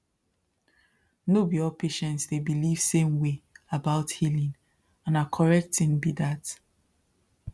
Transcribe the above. no be all patients dey believe same way about healing and na correct thing be that